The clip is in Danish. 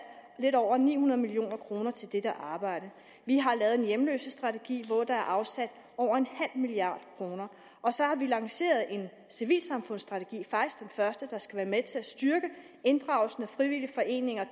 lidt over ni hundrede million kroner til dette arbejde vi har lavet en hjemløsestrategi hvor der er afsat over en halv milliard kroner og så har vi lanceret en civilsamfundsstrategi faktisk den første der skal være med til at styrke inddragelsen af frivillige foreninger og